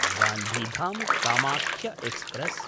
गान्धिधाम्–कामाख्य express